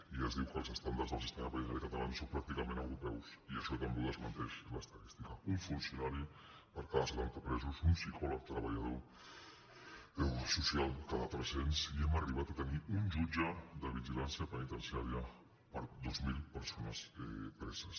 i es diu que els estàndards del sistema penitenciari català són pràcticament europeus i això també ho desmenteix l’estadística un funcionari per cada setanta presos un psicòleg treballador social cada tres cents i hem arribat a tenir un jutge de vigilància penitenciària per dos mil persones preses